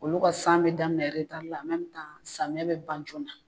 Olu ka san be daminɛ eretari la an mɛmitan samiyɛ be ban joona